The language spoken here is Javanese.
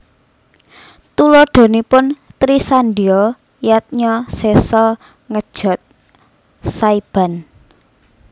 Tuladhanipun Trisandya Yadnya Sesa Ngejot/ Saiban